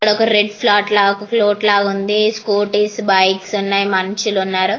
ఇక్కడ ఒక red flat ఒక ప్లోట్ లాగా ఉంది. స్కూటీస్ బైక్స్ ఉన్నాయి. మనుష్యులు ఉన్నారు.